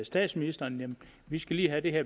statsministeren vi skal lige have det her